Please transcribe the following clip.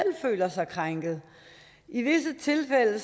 føler sig krænket i visse tilfælde